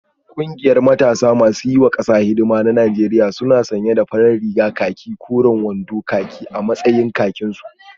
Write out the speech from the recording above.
Kungiyar matasa masu yiwa kasa hidima ta Najeriya suna sanye da farar rigar khaki koren riga da koren wando khaki a matsayin kakinsu